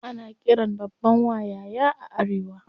Ana qiran babban wa "yaya" a arewa.